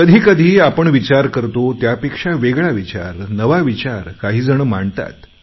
कधी कधी आपण विचार करतो त्यापेक्षा वेगळा विचार नवा विचार काही जण मांडतात